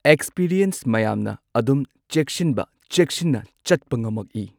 Experience ꯃꯌꯥꯝꯅ ꯑꯗꯨꯝ ꯆꯦꯛꯁꯟꯕ ꯆꯦꯛꯁꯤꯟꯕ ꯆꯦꯛꯁꯤꯟꯅ ꯆꯠꯄ ꯉꯝꯃꯛꯏ ꯫